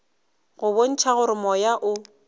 go bontšha gore moya o